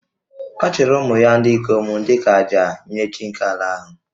Ọ chụrụ ụmụ ya ndị ikom dị ka àjà nye chi nke ala ahụ